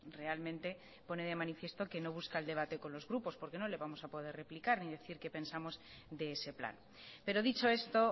realmente pone de manifiesto que no busca el debate con los grupos porque no le vamos a poder replicar ni decir qué pensamos de ese plan pero dicho esto